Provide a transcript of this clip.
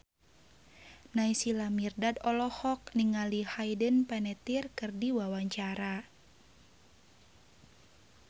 Naysila Mirdad olohok ningali Hayden Panettiere keur diwawancara